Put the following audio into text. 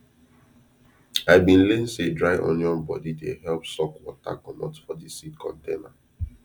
i bin learn say dry onion body dey help suck water comot for de seed container